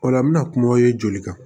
O la n bɛna kuma ye joli kan